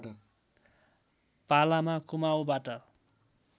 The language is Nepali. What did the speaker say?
पालामा कुमाउँबाट